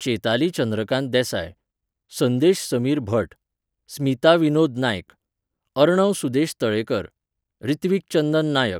Chetali Chandrakant Desai, Sandesh Sameer Bhat, Smita Vinod Naik, Arnav Sudesh Talekar, Ritvik Chandan Naik